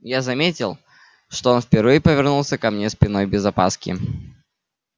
я заметил что он впервые повернулся ко мне спиной без опаски